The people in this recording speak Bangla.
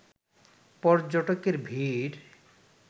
পর্যটকের ভিড়